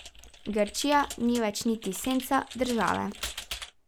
Grčija ni več niti senca države.